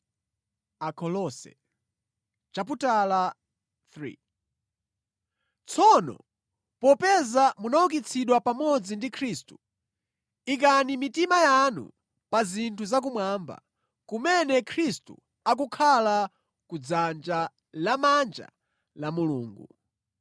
Tsono popeza munaukitsidwa pamodzi ndi Khristu, ikani mitima yanu pa zinthu za kumwamba, kumene Khristu akukhala ku dzanja lamanja la Mulungu.